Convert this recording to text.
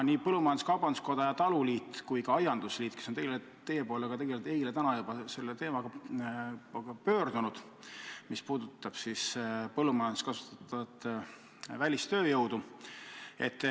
Nii põllumajandus-kaubanduskoda, taluliit kui ka aiandusliit on teie poole eile ja täna juba põllumajanduses kasutatava välistööjõu küsimusega pöördunud.